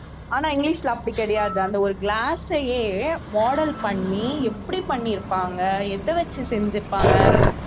ஆனால் இங்கிலீஷ்ல அப்படி கிடையாது அந்த ஒரு glass ஐயே model பண்ணி எப்படி பண்ணி இருப்பாங்க எத வச்சு செஞ்சிருப்பாங்க